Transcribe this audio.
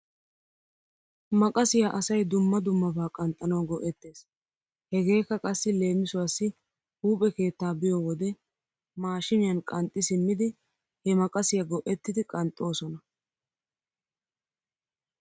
Maqasiyaa asay dumma dummabaa qanxxanaw go'ettes. Hegeekka qassi leemissuwaassi huuphphe keettaa biyoo wode maashiiniyan qanxxi simmidi he maqasiyaa go'ettidi qanxxoosona.